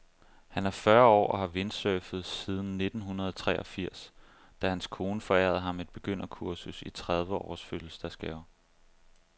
Han er fyrre år og har windsurfet siden nittenhundredeogfirs, da hans kone forærede ham et begynderkursus i trediveårs fødselsdagsgave.